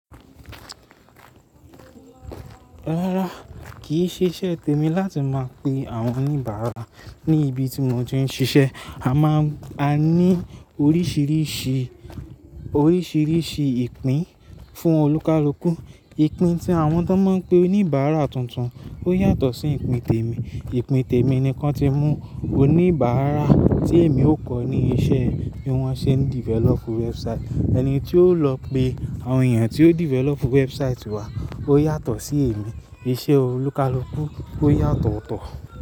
Rárá, kìí ṣe iṣẹ́ tèmi láti máa pe àwọn oníbàárà ní ibi tí mo ti ń ṣiṣẹ́. A máa, a ní oríṣiríṣi, oríṣiríṣi ìpín fún olúkalukù. Ìpín tí àwọn tó máa ń pe oníbàárà tuntun ó yàtọ̀ sí ìpín tèmi. Ìpín tèmi nìkan ti mú oníbàárà tí èmi ó kọ́ ní iṣẹ́ tí wọ́n ṣe ń develop website. Ẹni tí ó lọ pe àwọn èèyàn tí ó develop website wá ó yàtọ̀ sí èmi. Iṣẹ́ olúkalukù ó yàtọ̀ tọ̀.